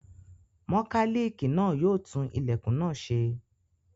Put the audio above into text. Mọkálíìkì náà yóò tún ilẹ̀kùn náà ṣe.